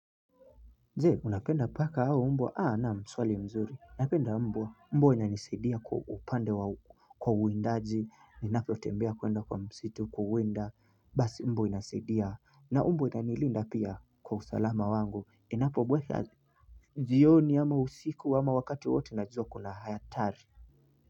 Je! Unapenda paka au mbwa, na swali zuri unapenda mbwa, mbwa wananiseidia kwa upande wa kwa uindaji ninapo tembea kwenda kwa msitu kuwinda basi mbwa inasedia na mbwa inanilinda pia kwa usalama wangu inapo bweka jioni ama usiku ama wakati wote najuwa kuna hatari.